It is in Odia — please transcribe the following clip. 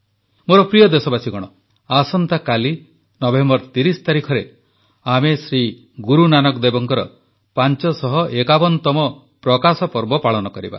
ମୋର ପ୍ରିୟ ଦେଶବାସୀଗଣ ଆସନ୍ତାକାଲି ନଭେମ୍ବର 30 ତାରିଖରେ ଆମେ ଶ୍ରୀ ଗୁରୁନାନକ ଦେବଙ୍କର 551ତମ ପ୍ରକାଶ ପର୍ବ ପାଳନ କରିବା